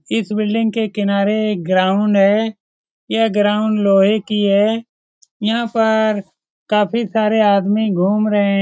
इस बिल्डिंग के किनारे एक ग्राउंड है यह ग्राउंड लोहे की है यहाँ पर काफी सारे आदमी घूम रहे हैं।